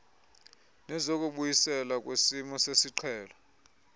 nezokubuyiselwa kwesimo sesiqhelo